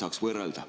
Oleks hea võrrelda.